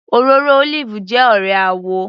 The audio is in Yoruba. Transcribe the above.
Òróró olive jẹ́ ọ̀rẹ́ àwò